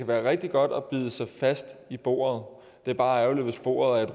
være rigtig godt at bide sig fast i bordet det er bare ærgerligt hvis bordet er